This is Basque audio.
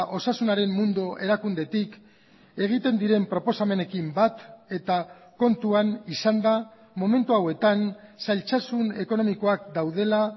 osasunaren mundu erakundetik egiten diren proposamenekin bat eta kontuan izanda momentu hauetan zailtasun ekonomikoak daudela